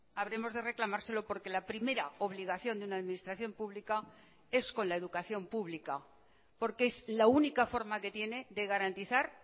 habremos de reclamárselo por que la primera obligación de una administración pública es con la educación pública porque es la única forma que tiene de garantizar